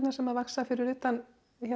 sem vaxa fyrir utan